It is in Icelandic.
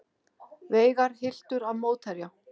Veigar hylltur af mótherja